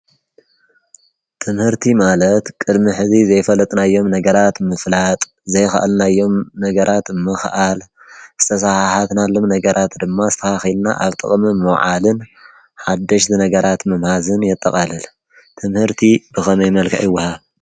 ትምህርቲ ማለት ቅድሚ ሐዚ ዘይፈለጥናዮም ነገራት ምፍላጥ፤ ዘይከአልናዮም ነገራት ምክአል፤ ዝተሰሓሓትናሎም ነገራት ድማ አስተካኪልና አብ ጥቅሚ ምውዓልን ሓደሽቲ ነገራት ምምሃዝን የጠቃልል። ትምህርቲ ብከመይ መልክዕ ይወሃብ?